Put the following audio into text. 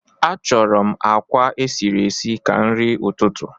Achọrọ m àkwá esiri esi ka nri ụtụtụ